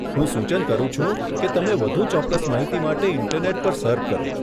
હું સૂચન કરું છું કે તમે વધુ ચોક્કસ માહિતી માટે ઇન્ટરનેટ પર સર્ફ કરો.